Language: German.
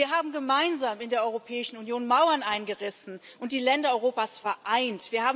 Wir haben gemeinsam in der Europäischen Union Mauern eingerissen und die Länder Europas vereint.